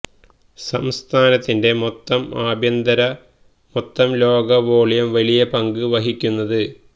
സംസ്ഥാനത്തിന്റെ മൊത്തം ആഭ്യന്തര മൊത്തം ലോക വോള്യം വലിയ പങ്ക് വഹിക്കുന്നത്